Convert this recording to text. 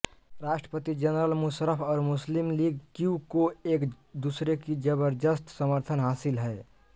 राष्ट्रपति जनरल मुशर्रफ और मुस्लिम लीग क्यू को एक दूसरे की जबरदस्त समर्थन हासिल है